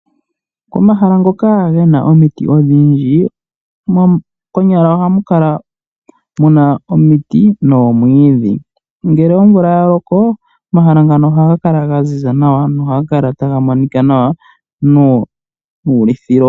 Omahala ngoka ge na omiti odhindji konyala ohamu kala muna omiti noomwiidhi. Ngele omvula ya loko omahala ngano ohaga kala ga ziza nawa nohaga kala taga monika nawa nuulithilo.